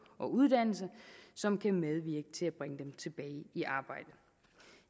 og uddannelse som kan medvirke til at bringe dem tilbage i arbejde